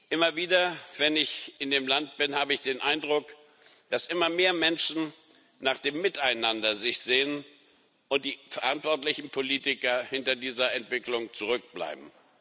Immer wieder, wenn ich in dem Land bin, habe ich den Eindruck, dass sich immer mehr Menschen nach dem Miteinander sehnen und die verantwortlichen Politiker hinter dieser Entwicklung zurückbleiben.